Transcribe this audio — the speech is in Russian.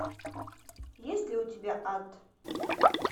есть ли у тебя ад